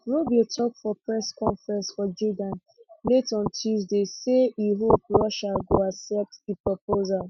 rubio tok for press conference for jeddah late on tuesday say e hope russia go accept di proposal